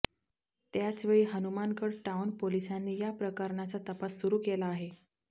त्याचवेळी हनुमानगड टाऊन पोलिसांनी या प्रकरणाचा तपास सुरू केला आहे